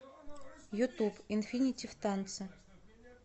ютуб инфинити в танце